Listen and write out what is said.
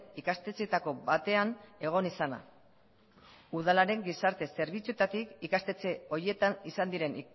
ikastetxeetako batean egon izana udalaren gizarte zerbitzuetatik ikastetxe horietan izan diren